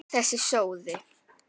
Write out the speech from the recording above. Þessi sóði!